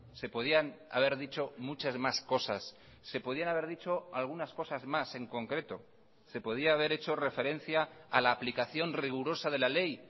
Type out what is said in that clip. se podían haber dicho muchas más cosas se podían haber dicho algunas cosas más en concreto se podía haber hecho referencia a la aplicación rigurosa de la ley